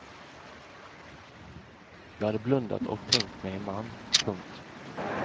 Jag hade blundat och tänkt mig en man. punkt